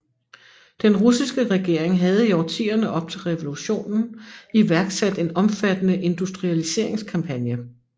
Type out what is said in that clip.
Den russiske regering havde i årtierne op til revolutionen iværksat en omfattende industrialiseringskampagne